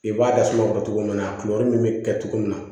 I b'a dasuma o kɔrɔ togo min na a kiyɔrɔ min bɛ kɛ cogo min na